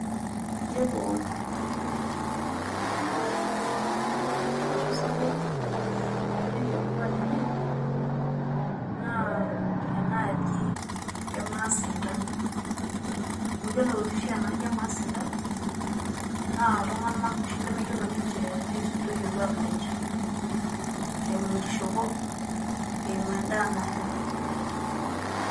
Yiolo olosho sapuk le kop kop loyioloi tiatua olkuak lenye naa enaaji e maasinta. Amu yiolo oshi enaji e maasinta naa iltung`anak lemeyiolo aisudoi olkwaak lenye. Eimu enkishopo , eimu en`daa nanya.